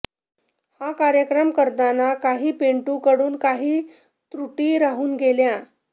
हा कार्यक्रम करताना कांही पिंटू कडून कांही त्रूटी राहून गेल्या